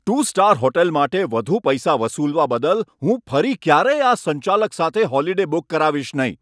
Two star hotel માટે વધુ પૈસા વસૂલવા બદલ હું ફરી ક્યારેય આ સંચાલક સાથે હોલીડે બુક કરાવીશ નહીં.